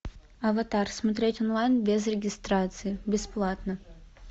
аватар смотреть онлайн без регистрации бесплатно